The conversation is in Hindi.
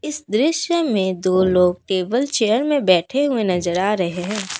दृश्य में दो लोग टेबल चेयर में बैठे हुए नजर आ रहे हैं।